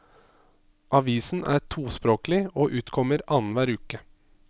Avisen er tospråklig og utkommer annenhver uke.